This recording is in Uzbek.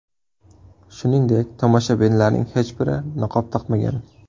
Shuningdek, tomoshabinlarning hech biri niqob taqmagan.